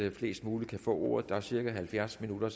at flest muligt kan få ordet der er så cirka halvfjerds minutter